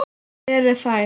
Hvar eru þær?